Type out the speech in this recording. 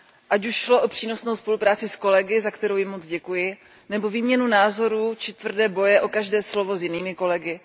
Ať už šlo o přínosnou spolupráci s kolegy, za kterou jim moc děkuji, nebo výměnu názorů či tvrdé boje o každé slovo s jinými kolegy.